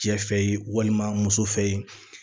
Cɛ fɛ yen walima muso fɛ yen